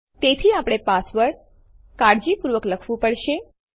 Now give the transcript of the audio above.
તેથી આપણે પાસવર્ડ કાળજીપૂર્વક લખવું પડશે